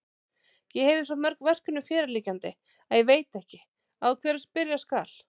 Ég hefi svo mörg verkefni fyrirliggjandi, að ég veit ekki, á hverju byrja skal.